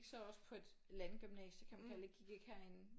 Så også på et landgymnasie kan man kalde det jeg gik ikke herinde